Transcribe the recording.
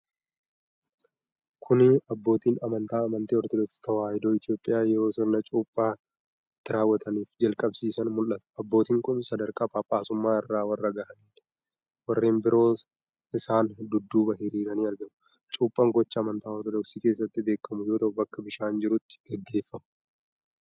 Kuni abbootiin amantaa amantii Orotodoksii Tewaayidoo Itoophiyaa yeroo sirna Cuuphaa itt raawwataniif jalqabsiisan mul'ata. Abbootiin kun sadarkaa Phaaphaasummaa irra warra gahaniidha. Warreen biroos isaan dudduubaan hiriiranii argamu. Cuuphaan gochaa amantaa Orodoksii keessatti beekamu yoo ta'u bakka bishaan jirutti gaggeeffama.